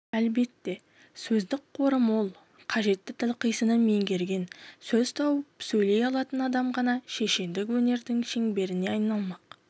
әлбетте сөздік қоры мол қажетті тіл қисынын меңгерген сөз тауып сөйлей алатын адам ғана шешендік өнердің шеберіне айналмақ